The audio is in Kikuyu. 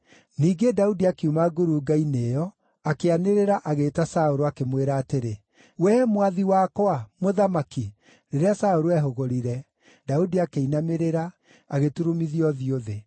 Ningĩ Daudi akiuma ngurunga-inĩ ĩyo, akĩanĩrĩra agĩĩta Saũlũ, akĩmwĩra atĩrĩ, “Wee mwathi wakwa, mũthamaki!” Rĩrĩa Saũlũ eehũgũrire, Daudi akĩinamĩrĩra, agĩturumithia ũthiũ thĩ.